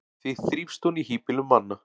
því þrífst hún í hýbýlum manna